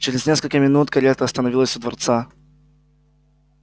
чрез несколько минут карета остановилась у дворца